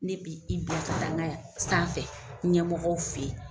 Ne bi i bila ka taŋa ya sanfɛ ɲɛmɔgɔw fe ye.